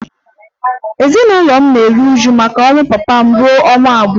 Ezinụlọ m dum na-eru uju maka ọnwụ papa m ruo ọnwa abụọ